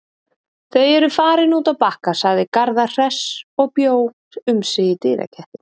Þau eru farin út að Bakka, sagði Garðar hress og bjó um sig í dyragættinni.